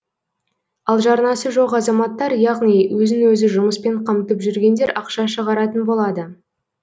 ал жарнасы жоқ азаматтар яғни өзін өзі жұмыспен қамтып жүргендер ақша шығаратын болады